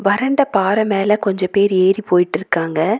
வறண்ட பாற மேல கொஞ்ச பேரு ஏறி போயிட்டுருக்காங்க.